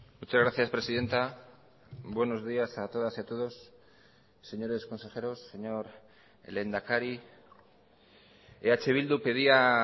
muchas gracias presidenta buenos días a todas y a todos señores consejeros señor lehendakari eh bildu pedía